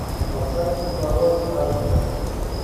поставь кислород аш ди